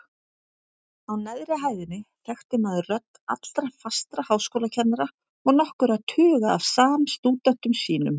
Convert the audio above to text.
Á neðri hæðinni þekkti maður rödd allra fastra háskólakennara og nokkurra tuga af samstúdentum sínum.